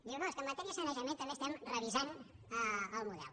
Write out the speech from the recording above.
diu no és que en matèria de sanejament també estem revisant el model